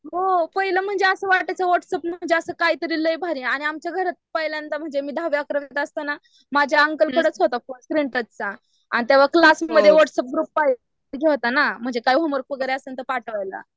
हो पहिलं म्हणजे असं वाटायचं वॉट्सप म्हणजे काय तरी लई भारी आणि आमच्या घरात पहिल्यांदा म्हणजे मी दहावी अकरावीत असताना माझ्या अंकल कडेच होता फोन स्क्रीनटचचा आणि तेव्हा क्लासमध्ये वॉट्सप ग्रुप पाहिजे होत ना म्हणजे काय होमवर्क वगैरा असेल तर पाठवायला .